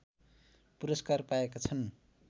पुरस्कार पाएका छन्